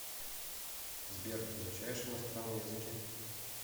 сбер изучаешь иностранные языки